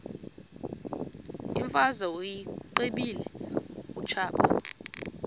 imfazwe uyiqibile utshaba